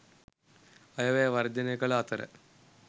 අයවැය වර්ජනය කල අතර